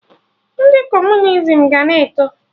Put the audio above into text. Ndị Kọmunizim ga na-eto